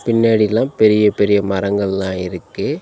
பின்னாடிலாம் பெரிய பெரிய மரங்கள்லா இருக்கு.